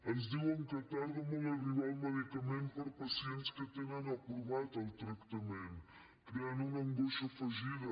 ens diuen que tarda molt a arribar el medica·ment per a pacients que tenen aprovat el tractament creant una angoixa afegida